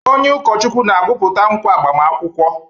Onye ụkọchukwu na-agwụpụta nkwa agbamakwụkwọ.